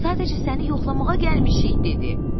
Sadəcə səni yoxlamağa gəlmişik dedi.